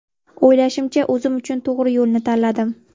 O‘ylashimcha, o‘zim uchun to‘g‘ri yo‘lni tanladim.